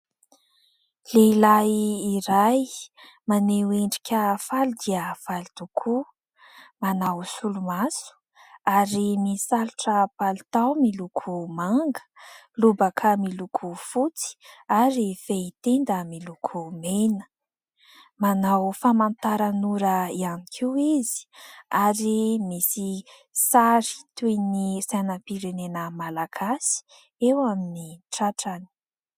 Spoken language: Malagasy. Lehilahy iray maneho endrika faly dia faly tokoa. Manao solomaso ary misalotra palitao miloko manga, lobaka miloko fotsy ary fehitenda miloko mena. Manao famantaran'ora ihany koa izy ary misy sary toy ny sainam-pirenena malagasy eo amin'ny tratrany.